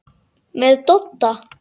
Með Dodda?